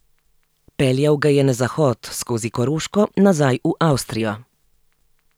Peljal ga je na zahod, skozi Koroško, nazaj v Avstrijo.